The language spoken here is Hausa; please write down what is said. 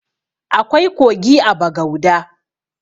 Akwai kogi a bagauda